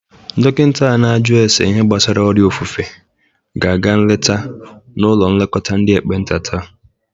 Dokinta a na-aju ase ihe gbasara ọrịa ofufe ga-aga nleta n'ụlọ nlekọta ndị ekpenta taa.